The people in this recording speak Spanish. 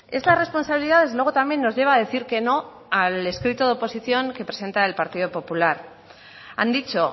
estas responsabilidades luego también nos lleva a decir que no al escrito de oposición que presenta el partido popular han dicho